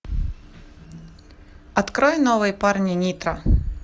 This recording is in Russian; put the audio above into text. открой новые парни нитро